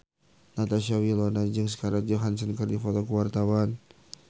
Natasha Wilona jeung Scarlett Johansson keur dipoto ku wartawan